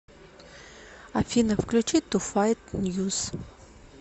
афина включи ту файт ньюс